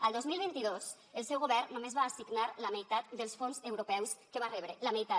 el dos mil vint dos el seu govern només va assignar la meitat dels fons europeus que va rebre la meitat